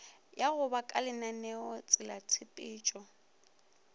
ya go ba kalenaneo latselatshepetšo